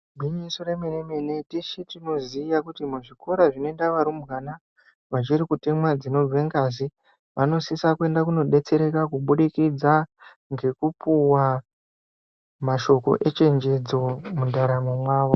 Igwinyiso remenemene tisu tinoziya kuti muzvikora zvinoenda varumbwana vachiri kutemwa dzinobuda ngazi vanosisa kuenda kunodetsereka kubudikidza ngekupuwa mashoko echechedzo mundaramo mwavo.